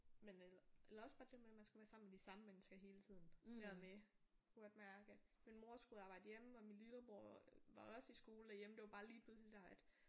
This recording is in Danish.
Men øh eller også bare det der med man skulle være sammen med de samme mennesker hele tiden. Det der med jeg kunne godt mærke min mor skulle arbejde hjemme og lillebror var også i skole der hjemme det var bare lille det der at